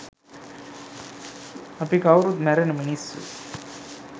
අපි කවුරුත් මැරෙන මිනිස්සු